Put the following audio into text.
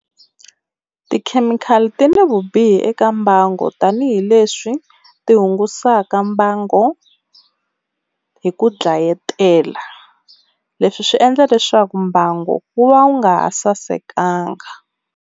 Tikhemikhali ti ni vubihi eka mbango tanihileswi tihungasaka mbango hi ku dlayetela. Leswi swi endla leswaku mbangu wu va wu nga ha sasekanga.